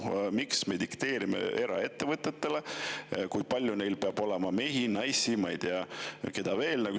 Miks me dikteerime eraettevõtetele, kui palju neil peab olema mehi, naisi ja ma ei tea, keda veel?